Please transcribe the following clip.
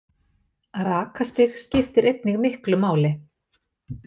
Rakastig skiptir einnig miklu máli.